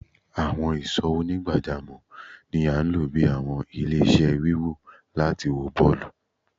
Awọn ìsò onigbajamo ní a lọ bí àwọn ile-iṣẹ́ wíwò láti wó bọọlu